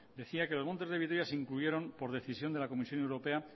decía que los montes de vitoria se incluyeron por decisión de la comisión europea